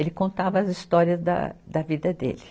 Ele contava as histórias da da vida dele.